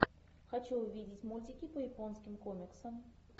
хочу увидеть мультики по японским комиксам